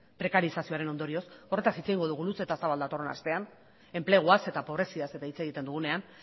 prekarizazioaren ondorioz horretaz hitz egingo dugu luze eta zabal datorren astean enpleguaz eta pobraziaz eta hitz egiten dugunean